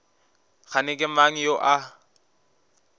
kgane ke mang yo a